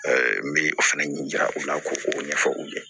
n bɛ o fana ɲɛ jira u la ko o ɲɛfɔ u ɲɛ